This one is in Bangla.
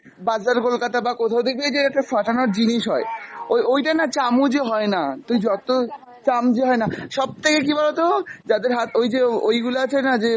বাজার কলকাতা বা কোথাও দেখবি ওই যে একটা ফাটানোর জিনিস হয়, ওই ওইটা না চামচে হয়না, তুই যত চামচে হয়না, সব থেকে কী বলতো যাদের হাত ওই যে ওই গুলো আছেনা যে